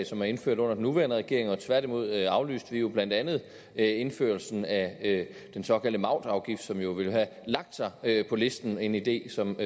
som er indført under den nuværende regering tværtimod aflyste vi jo blandt andet indførelsen af den såkaldte mautafgift som jo ville have lagt sig på listen en idé som